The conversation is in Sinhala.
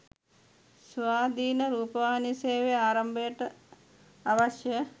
ස්වාධීන රූපවාහි සේවය ආරම්භයට අවශ්‍ය